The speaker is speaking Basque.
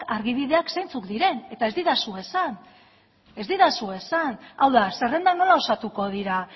argibideak zeintzuk diren eta ez didazu esan hau da zerrendak nola osatuko dira